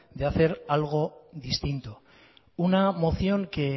de hacer algo distinto una moción que